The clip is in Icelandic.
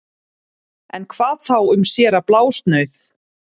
En hvað þá um séra Blásnauð